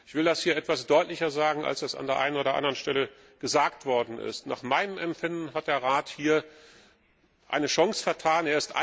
Ich will das hier etwas deutlicher sagen, als das an der einen oder anderen Stelle gesagt worden ist Nach meinem Empfinden hat der Rat hier eine Chance vertan.